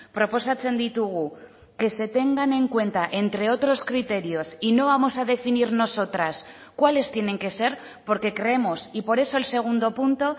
proposatzen ditugu que se tengan en cuenta entre otros criterios y no vamos a definir nosotras cuáles tienen que ser porque creemos y por eso el segundo punto